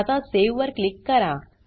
आता सावे वर क्लिक करा